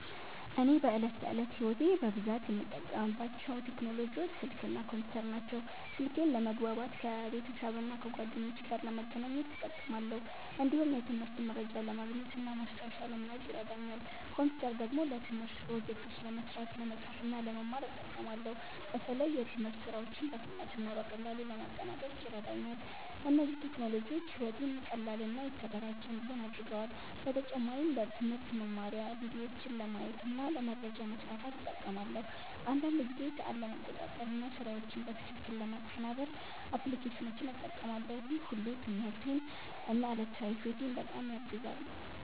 እኔ በዕለት ተዕለት ሕይወቴ በብዛት የምጠቀምባቸው ቴክኖሎጂዎች ስልክ እና ኮምፒውተር ናቸው። ስልኬን ለመግባባት ከቤተሰብና ከጓደኞቼ ጋር ለመገናኘት እጠቀማለሁ። እንዲሁም የትምህርት መረጃ ለማግኘት እና ማስታወሻ ለመያዝ ይረዳኛል። ኮምፒውተር ደግሞ ለትምህርት ፕሮጀክቶች ለመስራት፣ ለመጻፍ እና ለመማር እጠቀማለሁ። በተለይ የትምህርት ሥራዎችን በፍጥነት እና በቀላሉ ለማጠናቀቅ ይረዳኛል። እነዚህ ቴክኖሎጂዎች ሕይወቴን ቀላል እና የተደራጀ እንዲሆን አድርገዋል። በተጨማሪም ለትምህርት መማሪያ ቪዲዮዎችን ለማየት እና ለመረጃ ማስፋፋት እጠቀማለሁ። አንዳንድ ጊዜ ሰዓት ለመቆጣጠር እና ስራዎችን በትክክል ለማቀናበር አፕሊኬሽኖችን እጠቀማለሁ። ይህ ሁሉ ትምህርቴን እና ዕለታዊ ሕይወቴን በጣም ያግዛል።